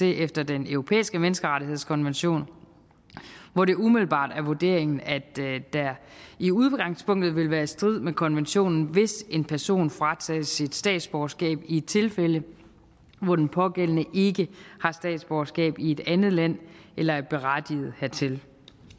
efter den europæiske menneskerettighedskonvention hvor det umiddelbart er vurderingen at det i udgangspunktet vil være i strid med kommissionen hvis en person fratages statsborgerskab i tilfælde hvor den pågældende ikke har statsborgerskab i et andet land eller er berettiget hertil